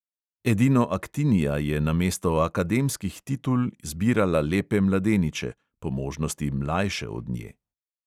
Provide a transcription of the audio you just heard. Edino aktinija je namesto akademskih titul zbirala lepe mladeniče, po možnosti mlajše od nje.